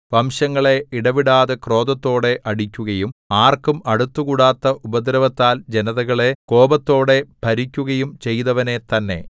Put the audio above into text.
വംശങ്ങളെ ഇടവിടാതെ ക്രോധത്തോടെ അടിക്കുകയും ആർക്കും അടുത്തുകൂടാത്ത ഉപദ്രവത്താൽ ജനതകളെ കോപത്തോടെ ഭരിക്കുകയും ചെയ്തവനെ തന്നെ